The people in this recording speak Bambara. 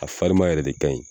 A fariman yɛrɛ de ka ɲi